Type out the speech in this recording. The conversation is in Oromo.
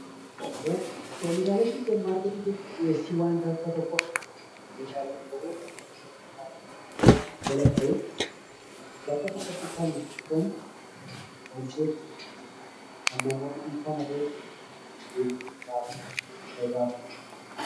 Oomishaalee supermarketii jechuun dhiyeessiwwan wantoota tokkoo meeshaalee ta'uu danda'uu, bakka tokkotti kan gurguramu kan namoonni dhuunfaan haa ta'uu gareedhaan deemanii irraa bitaniidha.